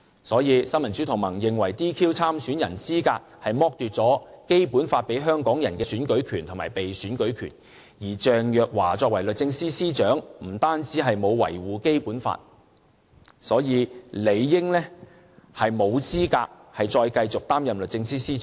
所以，新民主同盟認為 "DQ" 參選人資格是剝奪《基本法》賦予香港人的選舉權和被選舉權，而鄭若驊作為律政司司長，亦沒有維護《基本法》，所以，理應沒有資格再繼續擔任律政司司長。